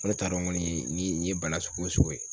Ne t'a dɔn kɔni ni n ye bana sugu o sugu ye.